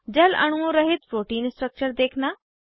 जल अणुओं रहित प्रोटीन स्ट्रक्चर देखना